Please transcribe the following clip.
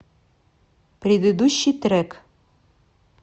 предыдущий трек